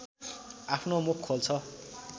आफ्नो मुख खोल्छ